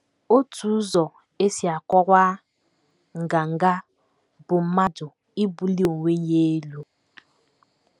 Otu ụzọ e si akọwa nganga bụ mmadụ ibuli onwe ya elu.